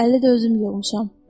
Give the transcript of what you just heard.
50-i də özüm yığmışam.